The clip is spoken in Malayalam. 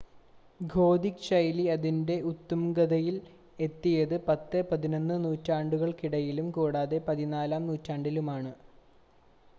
ഗോഥിക് ശൈലി അതിൻ്റെ ഉത്തുംഗതയിൽ എത്തിയത് 10,11 നൂറ്റാണ്ടുകൾക്കിടയിലും കൂടാതെ 14-ാം നൂറ്റാണ്ടിലുമാണ്